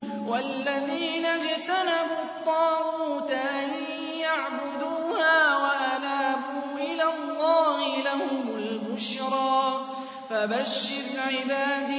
وَالَّذِينَ اجْتَنَبُوا الطَّاغُوتَ أَن يَعْبُدُوهَا وَأَنَابُوا إِلَى اللَّهِ لَهُمُ الْبُشْرَىٰ ۚ فَبَشِّرْ عِبَادِ